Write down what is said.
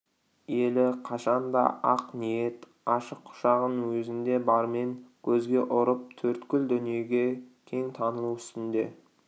елі қашанда ақ ниет ашық құшағын өзінде бармен көзге ұрып төрткүл дүниеге кең танылу үстінде